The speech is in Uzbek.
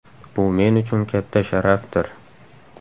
Bu men uchun katta sharafdir.